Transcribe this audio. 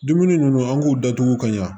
Dumuni ninnu an k'u datugu ka ɲa